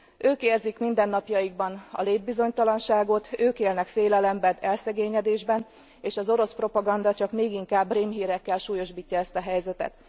Ők érzik mindennapjaikban a létbizonytalanságot, ők élnek félelemben, elszegényedésben, és az orosz propaganda csak még inkább rémhírekkel súlyosbítja ezt a helyzetet.